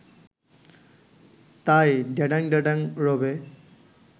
তাই ড্যাডাং ড্যাডাং রবে